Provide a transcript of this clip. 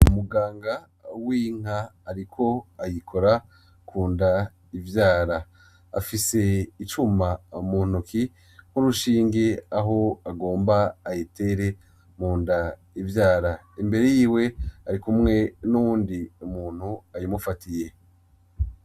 Umuganga w'inka ariko ayikora kunda ivyara. Afise icuma mu ntoke, nk'urushinge aho agomba ayitere munda ivyara. Imbere yiwe arikumwe n'uwundi muntu ayimufatiye.